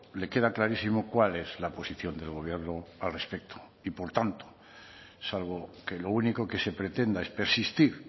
le queda clarísimo cuál es la posición del gobierno al respecto y por tanto salvo que lo único que se pretenda es persistir